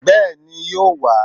Bẹ́ẹ̀ni, yóò wá